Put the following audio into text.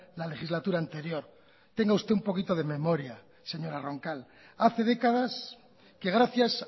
la legislatura anterior tenga usted un poquito de memoria señora roncal hace décadas que gracias